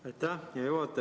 Aitäh, hea juhataja!